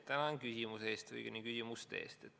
Tänan küsimuse eest, õigemini küsimuste eest!